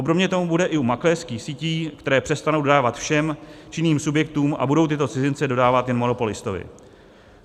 Obdobně tomu bude i u makléřských sítí, které přestanou dodávat všem činným subjektům a budou tyto cizince dodávat jen monopolistovi.